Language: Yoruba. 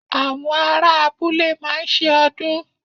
Àwọn ará abúlé máa ń se ọdún